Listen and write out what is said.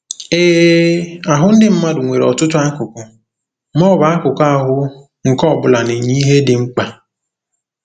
Ee, ahụ ndị mmadụ nwere ọtụtụ akụkụ, ma ọ bụ akụkụ ahụ, nke ọ bụla na-enye ihe dị mkpa.